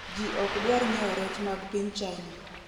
ji okdwar nyiewo rech mag piny China